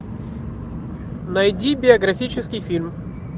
найди биографический фильм